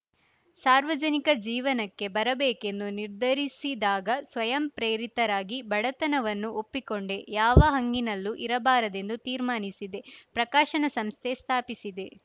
ಸಾರ್ವಜನಿಕ ಜೀವನಕ್ಕೆ ಬರಬೇಕೆಂದು ನಿರ್ಧಾರಿಸಿದಾಗ ಸ್ವಯಂ ಪ್ರೇರಿತರಾಗಿ ಬಡತನವನ್ನು ಒಪ್ಪಿಕೊಂಡೆ ಯಾವ ಹಂಗಿನಲ್ಲೂ ಇರಬಾರದೆಂದು ತೀರ್ಮಾನಿಸಿದೆ ಪ್ರಕಾಶನ ಸಂಸ್ಥೆ ಸ್ಥಾಪಿಸಿದೆ